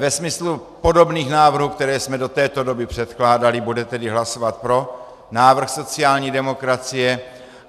Ve smyslu podobných návrhů, které jsme do této doby předkládali, bude tedy hlasovat pro návrh sociální demokracie.